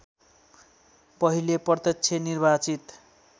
पहिले प्रत्यक्ष निर्वाचित